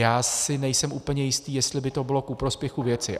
Já si nejsem úplně jistý, jestli by to bylo ku prospěchu věci.